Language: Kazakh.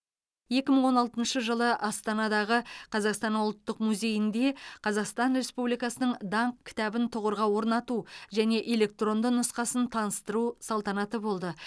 екі мың он алтыншы жылы астанадағы қазақстан ұлттық музейінде қазақстан республикасының даңқ кітабын тұғырға орнату және электронды нұсқасын таныстыру салтанаты болды